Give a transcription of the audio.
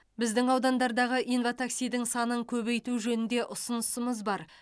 біздің аудандардағы инва таксидің санын көбейту жөнінде ұсынысымыз бар